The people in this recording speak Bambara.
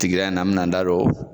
in na n bɛna n da don